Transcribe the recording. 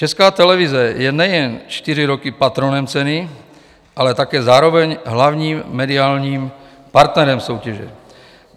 Česká televize je nejen čtyři roky patronem ceny, ale také zároveň hlavním mediálním partnerem soutěže.